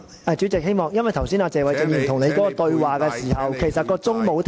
主席，請解釋為何剛才謝偉俊議員與你對話時，計時器沒有暫停。